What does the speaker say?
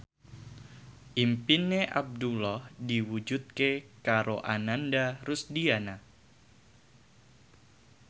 impine Abdullah diwujudke karo Ananda Rusdiana